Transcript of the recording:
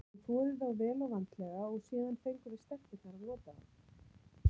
Hún þvoði þá vel og vandlega og síðan fengum við stelpurnar að nota þá.